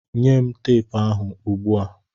Nye m teepu ahụ ugbu a!